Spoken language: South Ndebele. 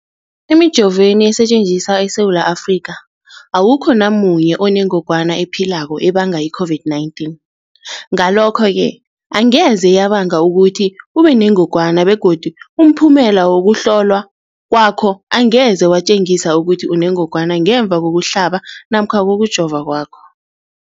Emijoveni esetjenziswa eSewula Afrika, awukho namunye onengwana ephilako ebanga i-COVID-19. Ngalokho-ke angeze yabanga ukuthi ubenengogwana begodu umphumela wokuhlolwan kwakho angeze watjengisa ukuthi unengogwana ngemva kokuhlaba namkha kokujova kwakho.